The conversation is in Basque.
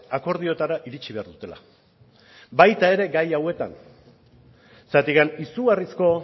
akordioetara iritsi behar dutela baita ere gai hauetan zergatik izugarrizko